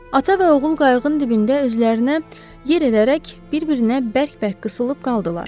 Ata və oğul qayığın dibində özlərinə yer edərək bir-birinə bərk-bərk qısılıb qaldılar.